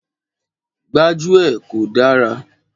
Gbájúẹ̀ kò dára.